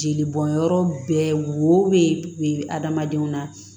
Jeli bɔnyɔrɔ bɛɛ wo be adamadenw na